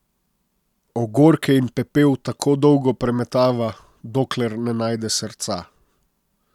Ogorke in pepel tako dolgo premetava, dokler ne najde srca.